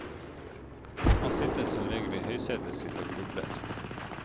Han sitter som regel i høysetet sitt og grubler.